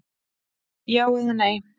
Já eða nei!